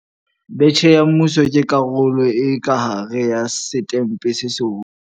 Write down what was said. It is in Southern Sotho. Betjhe ya Mmuso ke karolo e ka hare ya Setempe se Seholo.